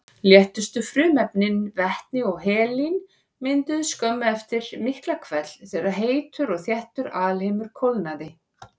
Léttustu frumefnin, vetni og helín, mynduðust skömmu eftir Miklahvell þegar heitur og þéttur alheimur kólnaði.